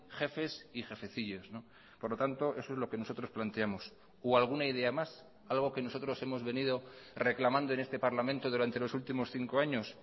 jefes y jefecillos por lo tanto eso es lo que nosotros planteamos o alguna idea más algo que nosotros hemos venido reclamando en este parlamento durante los últimos cinco años